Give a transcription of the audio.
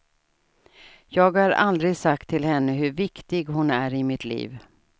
Jag har aldrig sagt till henne hur viktig hon är i mitt liv.